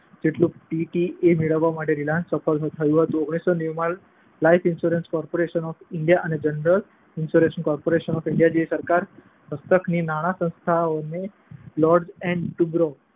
જેટલું પીટીએ મેળવવા માટે રીલાયન્સ સફળ રહ્યું હતું. ઓગણીસો નેવું માં life insurance corporation of India અને જનરલ ઈન્શ્યોરન્સ કોર્પોરેશન જેવી સરકાર હસ્તકની નાણાસંસ્થાઓએ લાર્સન એન્ડ ટુબ્રો